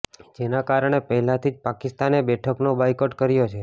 જેના કારણે પહેલાથી જ પાકિસ્તાને બેઠકનો બાયકોટ કર્યો છે